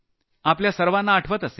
आपल्याला सर्वाना आठवण असेल